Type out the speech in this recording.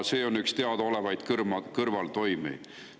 See on üks teadaolevaid kõrvaltoimeid.